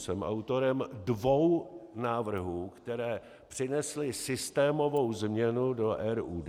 Jsem autorem dvou návrhů, které přinesly systémovou změnu do RUD.